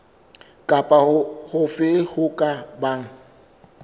kapa hofe ho ka bang